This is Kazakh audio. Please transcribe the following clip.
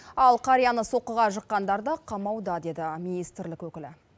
ал қарияны соққыға жыққандар да қамауда деді министрлік өкілі